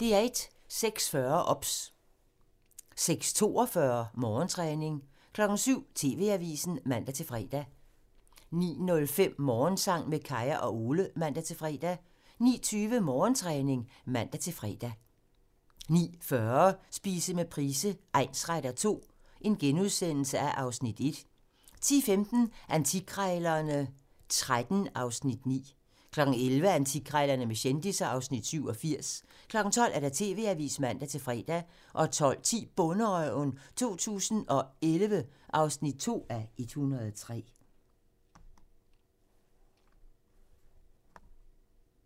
06:40: OBS (man) 06:42: Morgentræning 07:00: TV-avisen (man-fre) 09:05: Morgensang med Kaya og Ole (man-fre) 09:20: Morgentræning (man-fre) 09:40: Spise med Price egnsretter II (Afs. 1)* 10:15: Antikkrejlerne XIII (Afs. 9) 11:00: Antikkrejlerne med kendisser (Afs. 87) 12:00: TV-avisen (man-fre) 12:10: Bonderøven 2011 (2:103)